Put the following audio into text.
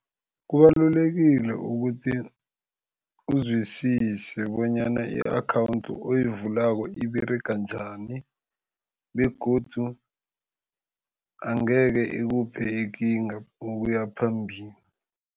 Kubalulekile ukuthi uzwisise bonyana i-akhawundi oyivulako iberega njani begodu angekhe ikuphe ikinga ukuya phambili.